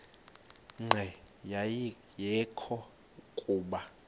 nqe ayekho kuba